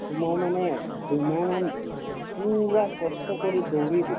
তোমাৰ মানে দুমাহমান পূৰা কষ্ট কৰি দৌৰিয়ে দিলো